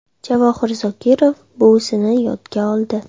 Javohir Zokirov buvisini yodga oldi.